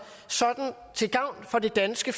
til gavn for det danske